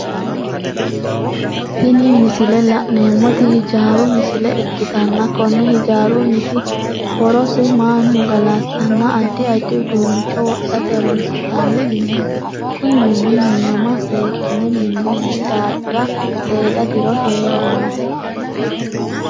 Tini misile la'neemoti hijaaru misile ikitanna Kone hijaarunniti horosi manu galatenna addi addi uduunicho wodhate horoonsi'nanni mineeti kunni mini minama seekine minoonni daafira seeda diro heerano.